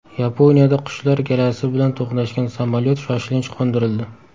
Yaponiyada qushlar galasi bilan to‘qnashgan samolyot shoshilinch qo‘ndirildi.